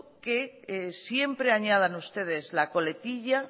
que siempre añadan ustedes la coletilla